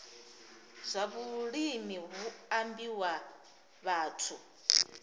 zwa vhulimi hu ambiwa vhathu